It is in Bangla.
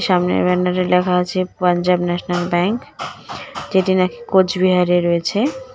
সামনের ব্যানারে লেখা আছে পাঞ্জাব ন্যাশনাল ব্যাঙ্ক যেটি নাকি কোচবিহারে রয়েছে .